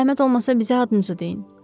Zəhmət olmasa bizə adınızı deyin.